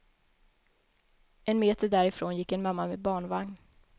En meter därifrån gick en mamma med barnvagn.